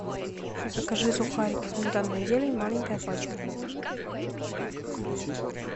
закажи сухарики сметана и зелень маленькая пачка флинт